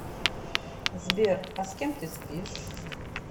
сбер а с кем ты спишь